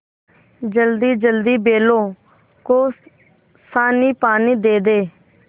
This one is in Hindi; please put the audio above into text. जल्दीजल्दी बैलों को सानीपानी दे दें